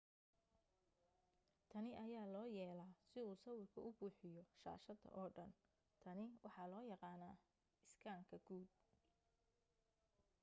tani ayaa loo yeelaa si uu sawirka u buuxiyo shaashada oo dhan tani waxaa loo yaqaanaa iskaanka guud